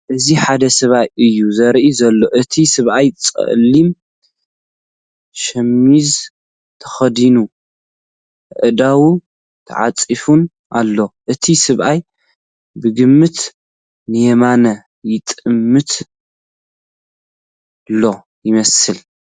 እዚ ሓደ ሰብኣይ እዩ ዘርኢ ዘሎ ። እቲ ሰበኣይ ጸሊም ሸሚዝ ተኸዲኑ ኣእዳዉ ተዓጺፈን ኣለዋ። እቲ ሰብኣይ ብግምት ንየማን ይጥምት ሎ ይመስል።